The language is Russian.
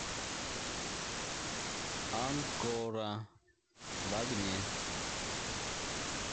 анкора в огне